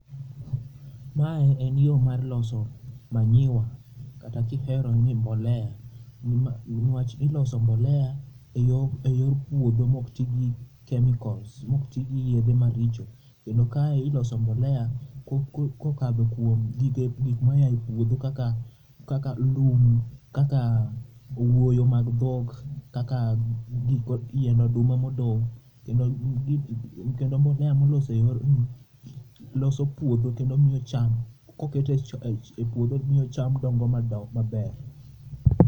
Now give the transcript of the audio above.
Ma e en yo mar loso manyiwa kata kihero ni mbolea ni wach iloso mbolea e yor puodho ma ok ti gi chemicals ma ok ti gi yedhe ma richo kendo ka iloso mbolea ko okadho kuom gik mo a e puodho kaka lum kaka owuoyo mag dhok kaka yien oduma ma odong kendo mbolea molos e yorno loso puodho kendo miyo cham ko kete e puodho miyo cham dongo maber.